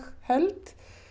held